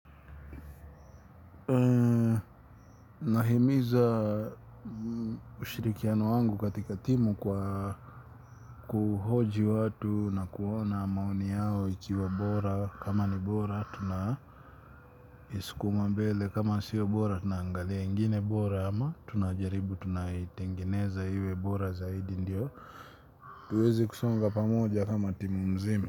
Nahimiza ushirikiano wangu katika timu kwa kuhoji watu na kuona maoni yao ikiwa bora kama ni bora tuna iskuma mbele kama siyo bora tunaangalia ngine bora ama tunajaribu tunaitengeneza hiwe bora zaidi ndio tuwezi kusonga pamoja kama timu mzima.